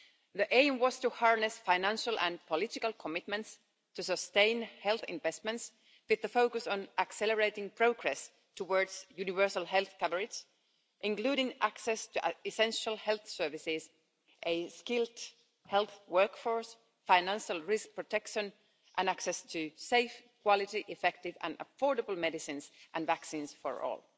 The aim was to harness financial and political commitments to sustain health investments, with the focus on accelerating progress towards universal health coverage, including access to essential health services, a skilled health workforce, financial risk protection and access to safe, quality, effective and affordable medicines and vaccines for all.